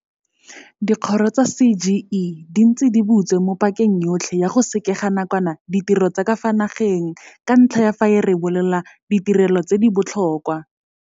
Dikgoro tsa CGE di ntse di butse mo pakeng yotlhe ya go sekega nakwana ditiro tsa ka fa nageng ka ntlha ya fa e rebolela ditirelo tse di botlhokwa.